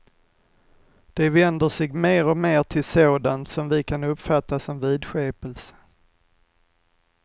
De vänder sig mer och mer till sådant som vi kan uppfatta som vidskepelse.